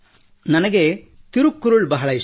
ನನಗೆ ತಿರುಕ್ಕುರುಳ್ ಬಹಳ ಇಷ್ಟ